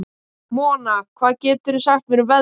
Mona, hvað geturðu sagt mér um veðrið?